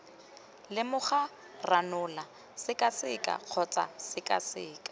lemoga ranola sekaseka kgotsa sekaseka